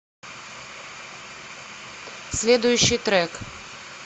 следующий трек